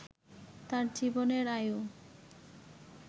তাঁর জীবনের আয়ু